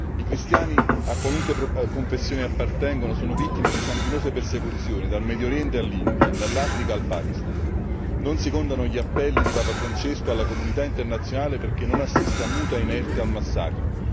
I cristiani a qualunque confessione appartengano sono vittime di sanguinose persecuzioni dal Medio Oriente all'India, dall'Africa al Pakistan. Non si contano gli appelli di Papa Francesco alla comunità internazionale perché non assista muta e inerte al massacro.